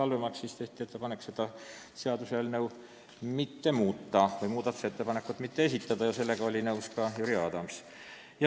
Nii tehti ettepanek seda muudatusettepanekut mitte esitada ja Jüri Adams oli sellega nõus.